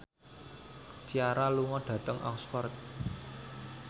Ciara lunga dhateng Oxford